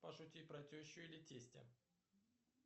пошути про тещу или тестя